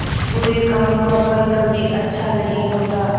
बुरे काम का फल कभी अच्छा नहीं होता